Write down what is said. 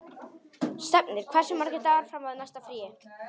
Stefnir, hversu margir dagar fram að næsta fríi?